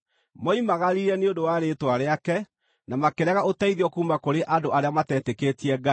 Moimagarire nĩ ũndũ wa Rĩĩtwa rĩake na makĩrega ũteithio kuuma kũrĩ andũ arĩa matetĩkĩtie Ngai.